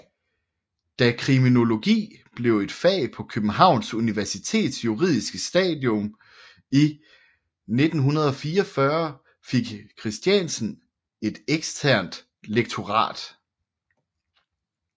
Da kriminologi blev et fag på København Universitets juridiske studium i 1944 fik Christiansen et eksternt lektorat